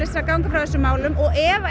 að ganga frá þessum málum og ef